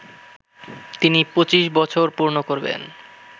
তিনি ২৫ বছর পূর্ণ করবেন